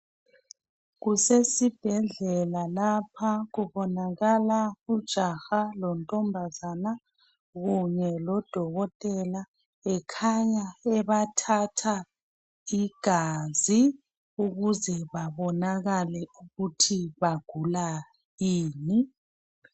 Kusesibhedlela lapha kubonakala ijaha lontombazana kunye lodokotela ekhanya ebathatha igazi ukuze bebonakale ukuthi bagula ini.